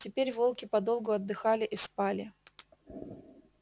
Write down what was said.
теперь волки подолгу отдыхали и спали